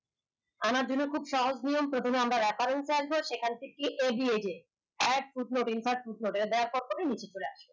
আনা দিলে খুব সহজ নিয়ম অথবা আমরা লেখা আসব এখান থেকে ab এই যে recode করে নিচে চলে আসবে